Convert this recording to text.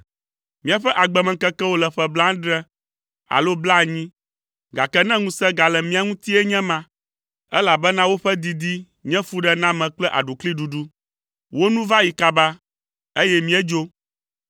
Míaƒe agbemeŋkekewo le ƒe blaadre, alo blaenyi, gake ne ŋusẽ gale mía ŋutie nye ema, elabena woƒe didi nye fuɖename kple aɖukliɖuɖu; wo nu va yi kaba, eye míedzo.